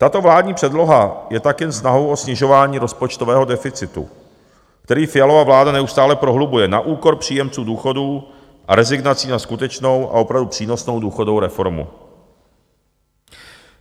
Tato vládní předloha je tak jen snahou o snižování rozpočtového deficitu, který Fialova vláda neustále prohlubuje, na úkor příjemců důchodů a rezignací na skutečnou a opravdu přínosnou důchodovou reformu.